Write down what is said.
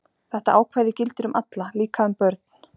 Þetta ákvæði gildir um alla, líka um börn.